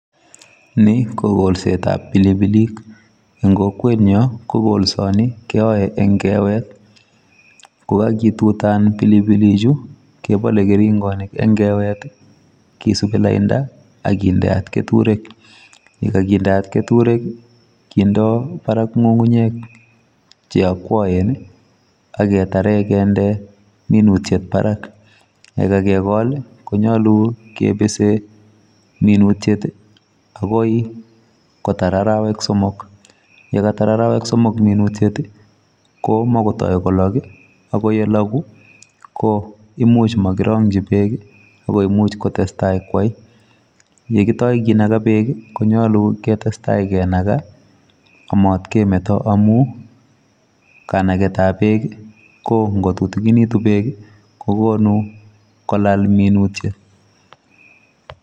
Ni ko kokolsetab pilipilik en kokwenyon ko kolsooni keyoe en keewet, kokituutan pilipilichu kobole keringoonik en kewet, kisibii lainda ak kindeot ketureek ye kakindeot keturek kindo ngungunyek cheokwoen ak ketaren kinds minute barak. Ye kakegol konyolu kibisi minutiet akoi kotar arawek somok. Ye Katar arawek somok minutes komokotoikolog, akyeloguu koimuch mokirongyii beek, ako much kotestai kwo, yekitoikinogoo beek konyolu ketesta kinagaa amat kemeto amun kanagetab beek i,ko ingotutikinitun berk kokonu kolaal minutiet